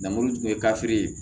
Namuru tun ye kafiri ye